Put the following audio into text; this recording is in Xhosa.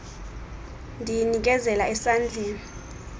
ndiyi nikezela esandleni